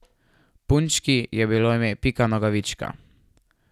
Punčki je bilo ime Pika Nogavička.